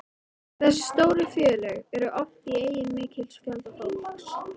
Þessi stóru félög eru oft í eigu mikils fjölda fólks.